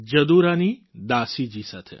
જદુરાની દાસી જી સાથે